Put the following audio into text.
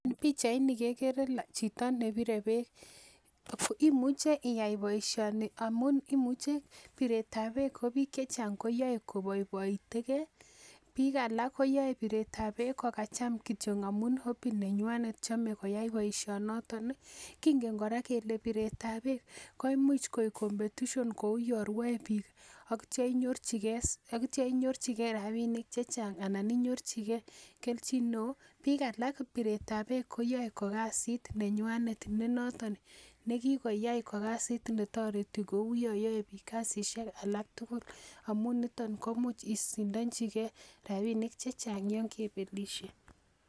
Pichait ni kekere chito nebire beek imuche iyai boisioni amun imuche biret ab beek ko biik chechang koyoe koboiboitegee biik alak koyoe biretab beek kokacham kityo amun hobby nenywanet chome koyai boisioniton kingen kora biret ab beek kele biret ab beek koimuch koik competition kou yon rwoe biik ak itya inyorchigee rapinik chechang ana inyorchigee kelchin neoo biik alak biret ab beek koyoe ko kasit nenywanet qne noton ko kikoyai ko kasit netoreti ko yon you biik kasisiek alak tugul amun yuton koimuch isindochigee rapinik chechang yon kebelisie